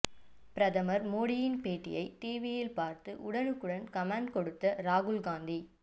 பிரதமர் மோடியின் பேட்டியை டிவியில் பார்த்து உடனுக்குடன் கமெண்ட் கொடுத்த ராகுல் காந்தி